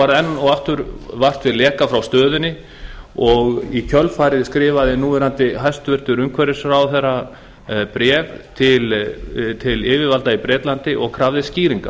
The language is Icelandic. var enn og aftur vart við leka frá stöðinni og í kjölfarið skrifaði núverandi hæstvirtur umhverfisráðherra bréf til yfirvalda í bretlandi og krafðist skýringa